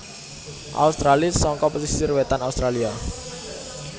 australis saka pesisir wétan Australia